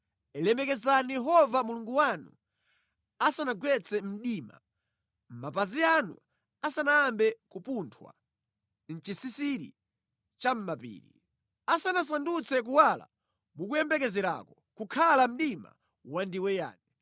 Lemekezani Yehova Mulungu wanu asanagwetse mdima, mapazi anu asanayambe kupunthwa mʼchisisira chamʼmapiri. Asanasandutse kuwala mukuyembekezerako kukhala mdima wandiweyani.